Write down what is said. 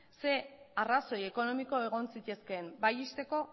zein arrazoi ekonomiko egon zitezkeen bai ixteko